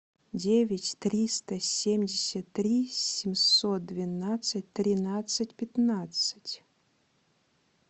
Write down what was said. девять триста семьдесят три семьсот двенадцать тринадцать пятнадцать